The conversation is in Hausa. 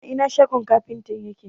a Ina shogon kafintan yake?